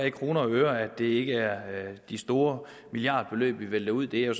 i kroner og øre ikke er de store milliardbeløb vi vælter ud det er